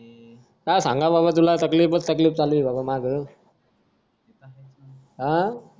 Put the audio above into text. काय सांगावं बाबा तकलीफच तकलीफ चालू ये बाबा मागं अं